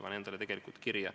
Ma panen selle mõtte endale kirja.